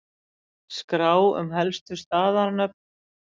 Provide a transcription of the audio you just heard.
Skrá um helstu staðanöfn